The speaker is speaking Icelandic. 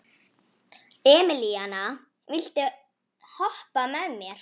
Emelíana, viltu hoppa með mér?